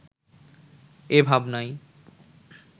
এ ভাবনাই